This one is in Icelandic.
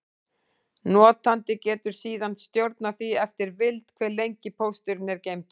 Notandi getur síðan stjórnað því eftir vild, hve lengi pósturinn er geymdur.